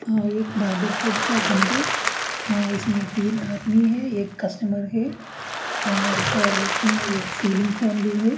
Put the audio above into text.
हाँ ये एक बार्बर शॉप का अंदर अ इसमें तीन आदमी है एक कस्टमर है अअअ इसके रूफ में एक सीलिंग फेन भी है।